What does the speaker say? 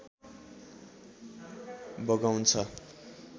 बगाउँछ